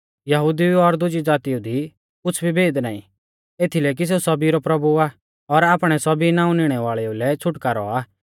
यहुदिऊ और दुजी ज़ातीऊ दी कुछ़ भी भेद नाईं एथीलै कि सेऊ सौभी रौ प्रभु आ और आपणै सौभी नाऊं निणै वाल़ेउल़ै छ़ुटकारौ आ